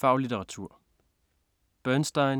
Faglitteratur